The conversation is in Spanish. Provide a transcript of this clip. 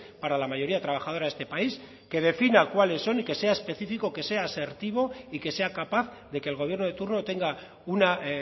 para la mayoría trabajadora de este país que defina cuáles son y que sea específico que sea asertivo y que sea capaz de que el gobierno de turno tenga una